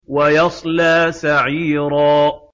وَيَصْلَىٰ سَعِيرًا